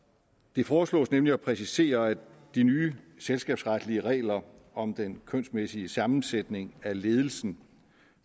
det foreslås nemlig at præcisere at de nye selskabsretslige regler om den kønsmæssige sammensætning af ledelsen